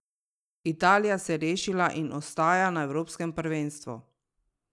Italija se je rešila in ostaja na evropskem prvenstvu!